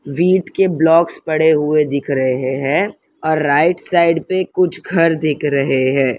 Wheat के blocks पड़े हुए दिख रहे हैं और राइट साइड पे कुछ घर दिख रहे हैं।